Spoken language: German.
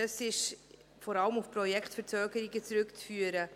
Dies ist vor allem auf die Projektverzögerungen zurückzuführen.